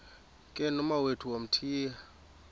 ke nomawethu wamthiya